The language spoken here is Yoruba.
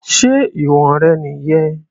Ṣé ìwọ̀n rẹ̀ nìyẹn?